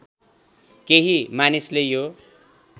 केही मानिसले यो